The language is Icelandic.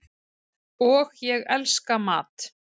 og ég elska mat.